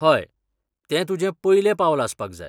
हय, तें तुजें पयलें पावल आसपाक जाय.